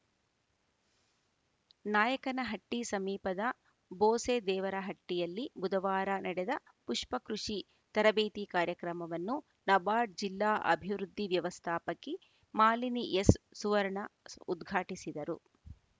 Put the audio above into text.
ನಾಯಕನಹಟ್ಟಿಸಮೀಪದ ಬೋಸೆದೇವರಹಟ್ಟಿಯಲ್ಲಿ ಬುಧವಾರ ನಡೆದ ಪುಷ್ಪ ಕೃಷಿ ತರಬೇತಿ ಕಾರ್ಯಕ್ರಮವನ್ನು ನಬಾರ್ಡ್‌ ಜಿಲ್ಲಾ ಅಭಿವೃದ್ಧಿ ವ್ಯವಸ್ಥಾಪಕಿ ಮಾಲಿನಿ ಎಸ್‌ ಸುವರ್ಣ ಸ್ ಉದ್ಘಾಟಿಸಿದರು